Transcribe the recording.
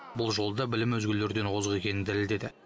бұл жолы да білімі өзгелерден озық екенін дәлелдеді